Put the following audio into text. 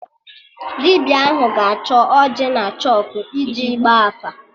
Dibịa ahụ ga-achọ ọjị na chọkụ iji Ịgba afa